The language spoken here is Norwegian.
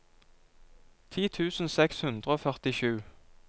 ti tusen seks hundre og førtisju